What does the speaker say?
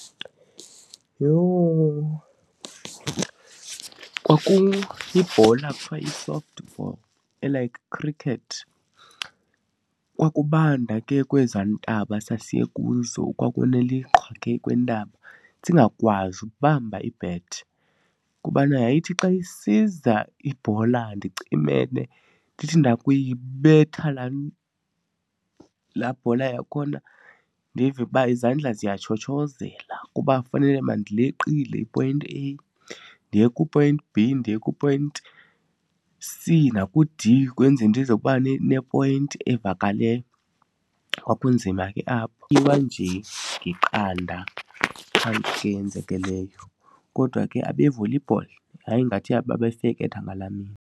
Yho! Kwakuyibhola ekuthiwa yi-soft ball e-like cricket. Kwakubanda ke kwezaa ntaba sasiye kuzo, kwakuneliqhwa ke kwiintaba singakwazi ukubamba i-bat. Kubana yayithi xa isiza ibhola ndicimele, ndithi ndakuyibetha laa laa bhola yakhona, ndive uba izandla ziyatshotshozela kuba fanele mandileqile i-point A ndiye ku-point B ndiye ku-point C naku-D kwenzele ndiza uba ne-point evakaleyo. Kwakunzima ke apho. nje iqanda yenzeke leyo. Kodwa ke abe-volleyball yayingathi aba babefeketha ngalaa mini.